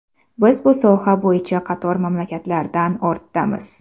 Biz bu soha bo‘yicha qator mamlakatlardan ortdamiz.